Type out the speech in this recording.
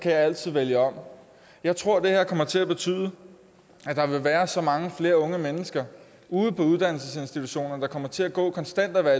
altid vælge om jeg tror at det her kommer til at betyde at der vil være så mange flere unge mennesker ude på uddannelsesinstitutionerne der kommer til at gå og konstant være